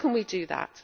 How can we do that?